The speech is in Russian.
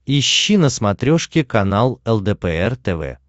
ищи на смотрешке канал лдпр тв